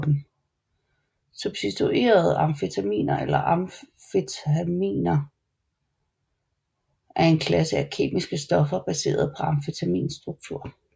Substituerede amfetaminer eller amfetaminer er en klasse af kemiske stoffer baseret på amfetamins struktur